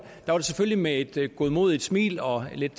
selvfølgelig med et godmodigt smil og lidt